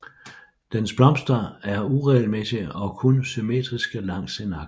Dens blomster er uregelmæssige og kun symmetriske langs én akse